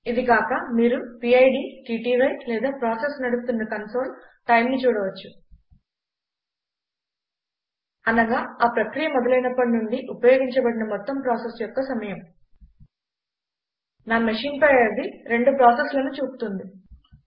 ఇది కాక మీరు పిడ్ టీటీవై లేదా ప్రాసెస్ నడుస్తున్న కన్సోల్ TIMEను చూడవచ్చు అనగా ఆ ప్రక్రియ మొదలయినప్పటి నుండి ఉపయోగించబడిన మొత్తం ప్రాసెసర్ యొక్క సమయం నా మెషీన్ పై అది రెండు ప్రాసెస్లను చూపుతుంది